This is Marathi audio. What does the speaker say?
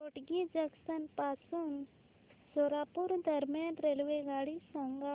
होटगी जंक्शन पासून सोलापूर दरम्यान रेल्वेगाडी सांगा